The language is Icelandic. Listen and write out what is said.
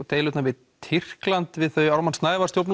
deilurnar við Tyrkland við þau Ármann Snævarr